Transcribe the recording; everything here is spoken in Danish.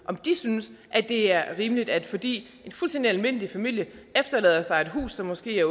om de synes det er rimeligt at fordi en fuldstændig almindelig familie efterlader sig et hus som måske er